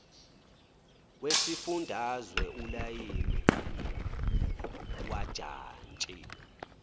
wesifundazwe ulayini wajantshi